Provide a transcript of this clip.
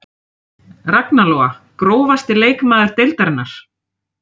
Ragna Lóa Grófasti leikmaður deildarinnar?